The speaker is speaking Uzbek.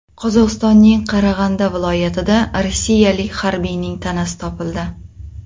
Qozog‘istonning Qarag‘anda viloyatida rossiyalik harbiyning tanasi topildi.